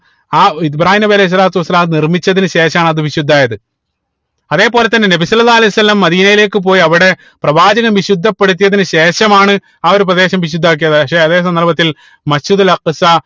ആ ഏർ ഇബ്രാഹീം നബി അലൈഹി സ്വലാത്തു വസ്സലാം നിർമിച്ചതിന് ശേഷാണ് അത് വിശുദ്ധായത് അതേപോലെ തന്നെ നബി സ്വല്ലള്ളാഹു അലൈഹി വസല്ലം മദീനയിലേക്ക് പോയി അവിടെ പ്രവാചകൻ വിശുദ്ധപ്പെടുത്തിയതിന് ശേഷമാണ് ആ ഒരു പ്രദേശം വിശുദ്ധമാക്കിയത് പക്ഷെ അതെ സന്ദർഭത്തിൽ Masjid ഉൽ അക്സ